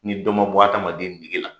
Ni dɔ ma bɔ adamaden nege la